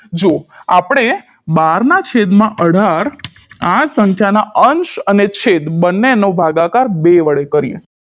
જો આપણે બારના છેદમાં અઢાર આ સંખ્યાના અંશ અને છેદ બંનેનો ભાગાકાર બે વડે કરીએ